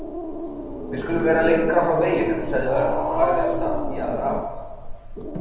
Við skulum vera lengra frá veginum sagði Örn og lagði af stað í aðra átt.